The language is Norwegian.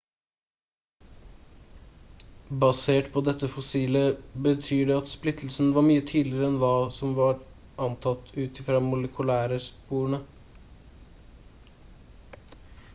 basert på dette fossilet betyr det at splittelsen var mye tidligere enn hva som har vært antatt ut ifra molekylære sporene